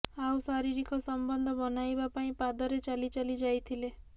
ଆଉ ଶାରୀରିକ ସମ୍ବନ୍ଧ ବନାଇବା ପାଇଁ ପାଦରେ ଚାଲି ଚାଲି ଯାଇଥିଲେ